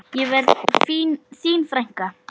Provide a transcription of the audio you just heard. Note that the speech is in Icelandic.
Ég verð þín frænka.